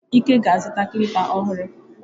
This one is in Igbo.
Ike ga azuta klịpa ọhụrụ.